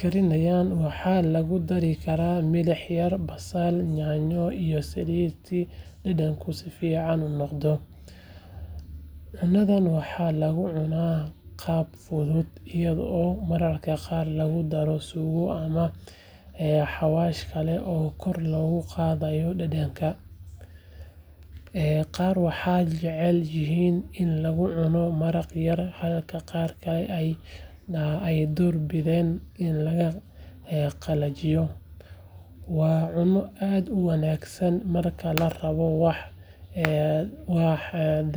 karinayaan waxaa lagu dari karaa milix yar, basal, yaanyo iyo saliid si dhadhanka u fiican noqdo. Cunadan waxaa lagu cunaa qaab fudud iyadoo mararka qaar lagu daro suugo ama xawaash kale oo kor loogu qaado dhadhanka. Qaar waxay jecel yihiin in lagu cuno maraq yar halka qaar kalena ay door bidaan in la qalajiyo. Waa cunno aad u wanaagsan marka la rabo wax dhafaya.